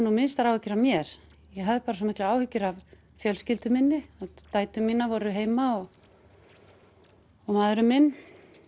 nú minnstar áhyggjur af mér ég hafði bara svo miklar áhyggjur af fjölskyldu minni dætur mínar voru heima og maðurinn minn